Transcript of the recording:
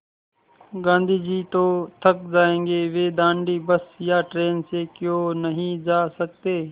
गाँधी जी तो थक जायेंगे वे दाँडी बस या ट्रेन से क्यों नहीं जा सकते